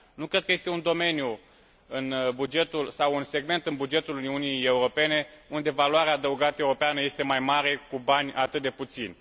Nu cred că este un domeniu sau un segment în bugetul Uniunii Europene unde valoarea adăugată europeană este mai mare, cu bani atât de puțini.